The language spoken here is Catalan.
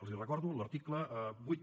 els recordo l’article vuit